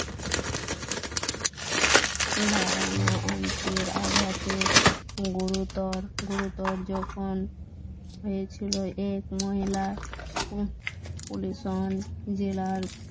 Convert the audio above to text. অঙ্কের আঘাতে গুরুতর গুরুতর জখম হয়েছিল এক মহিলা জেলার